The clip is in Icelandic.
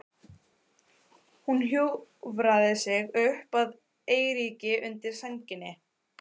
Hún hjúfraði sig upp að Eiríki undir sænginni.